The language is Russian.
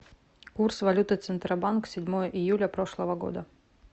курс валюты центробанк седьмое июля прошлого года